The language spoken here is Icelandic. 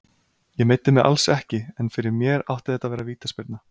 Ég meiddi mig alls ekki, en fyrir mér átti þetta að vera vítaspyrna.